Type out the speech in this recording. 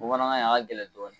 Bamanankan in a ka gɛlɛn dɔɔni